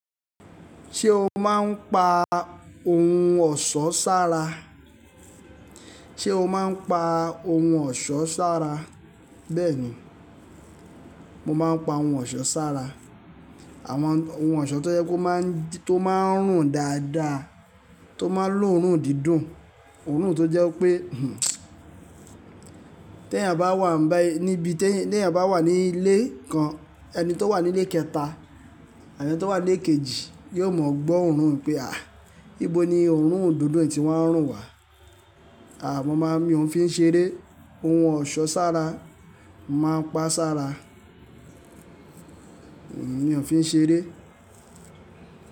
Ṣé o máa ń pa ohun ọ̀ṣọ́ sára? Ṣé o máa ń pa ohun ọ̀ṣọ́ sára? Bẹ́ẹ̀ni, mo máa ń pa ohun ọ̀ṣọ́ sára. Àwọn ohun ọ̀ṣọ́ tó jẹ́ pe o máa ń, tó máa ń rùn dáadáa, tó máa ń lòórùn dídùn, òórùn tó jẹ́ pé tẹ́ eeyàn bá wà bayi níbí, tẹ́ eeyàn bá wà nílé kan, ẹni tó wà nílé kẹta, àtí ẹni tó wà nílé kejì yóò mọ̀ gbọ́ òórùn pé "à, ibo ni òórùn òdodo yìí tí woń rùn wà?" Aà, mo máa ń, mi ò fi ń ṣeré, ohun ọ̀ṣọ́ sára, màá pa sára. Mi ò fi ń ṣeré.